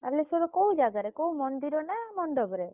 ବାଲେଶ୍ୱରର କୋଉ ଜାଗାରେ କୋଉ ମନ୍ଦିର ନା ମଣ୍ଡପରେ?